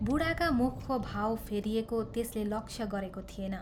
बूढाका मुखको भाव फेरिएको त्यसले लक्ष्य गरेको थिएन।